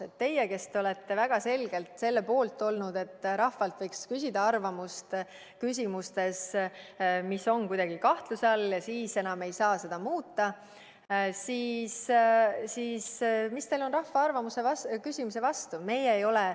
Mis on teil, kes te olete väga selgelt olnud selle poolt, et rahvalt võiks küsida arvamust küsimustes, mis on kuidagi kahtluse all, rahva arvamuse küsimise vastu?